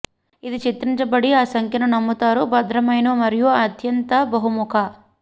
ఇది చిత్రించబడి ఆ సంఖ్యను నమ్ముతారు భద్రమైన మరియు అత్యంత బహుముఖ